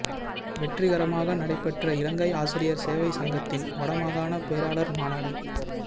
வெற்றிகரமாக நடைபெற்ற இலங்கை ஆசிரியர் சேவை சங்கத்தின் வடமாகாண பேராளர் மாநாடு